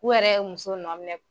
U yɛrɛ u muso nɔ minɛ